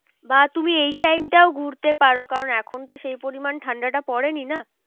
বা তুমি এই time টাও ঘুরতে পারো কারণ এখন তো সেই পরিমান ঠান্ডাটা পরেনি না।